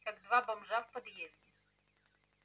как два бомжа в подъезде